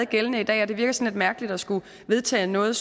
gældende i dag og det virker sådan lidt mærkeligt at skulle vedtage noget